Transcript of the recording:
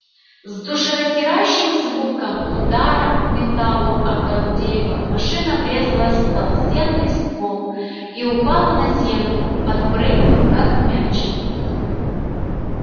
с душераздирающим звуком удара металла о кору дерева машина врезалась в толстенный ствол и упала на землю подпрыгнув как мяч